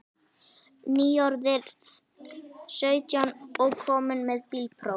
Nýorðinn sautján og kominn með bílpróf.